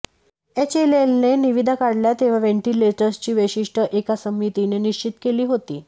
एचएलएलने निविदा काढल्या तेव्हा व्हेन्टिलेटर्सची वैशिष्ट्यं एका समितीने निश्चित केली होती